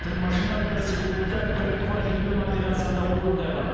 тың машина бір секундта бір квадриллион операцияны орындай алады